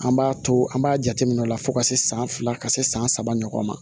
An b'a to an b'a jateminɛ o la fo ka se san fila ka se san saba ɲɔgɔn ma